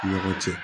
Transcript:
Ni ɲɔgɔn cɛ